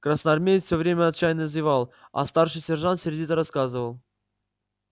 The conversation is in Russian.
красноармеец всё время отчаянно зевал а старший сержант сердито рассказывал